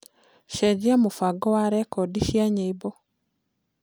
cenjĩa mubango wa rekodi cĩa nyĩmbo